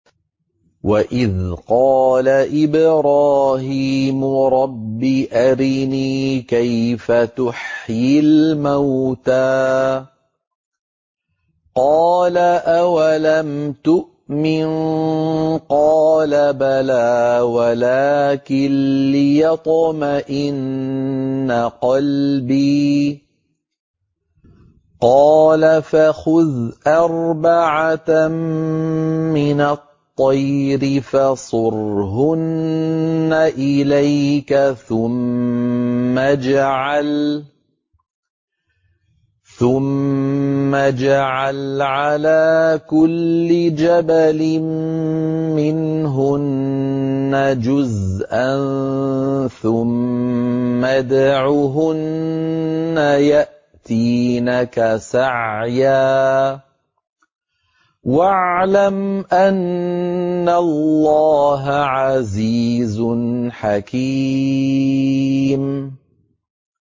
وَإِذْ قَالَ إِبْرَاهِيمُ رَبِّ أَرِنِي كَيْفَ تُحْيِي الْمَوْتَىٰ ۖ قَالَ أَوَلَمْ تُؤْمِن ۖ قَالَ بَلَىٰ وَلَٰكِن لِّيَطْمَئِنَّ قَلْبِي ۖ قَالَ فَخُذْ أَرْبَعَةً مِّنَ الطَّيْرِ فَصُرْهُنَّ إِلَيْكَ ثُمَّ اجْعَلْ عَلَىٰ كُلِّ جَبَلٍ مِّنْهُنَّ جُزْءًا ثُمَّ ادْعُهُنَّ يَأْتِينَكَ سَعْيًا ۚ وَاعْلَمْ أَنَّ اللَّهَ عَزِيزٌ حَكِيمٌ